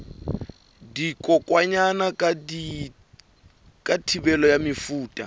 dikokwanyana ka thibelo ya mefuta